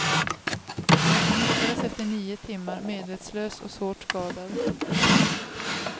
Han hittades efter nio timmar, medvetslös och svårt skadad.